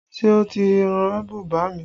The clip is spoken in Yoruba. Ṣé o ti rán bùbá mi?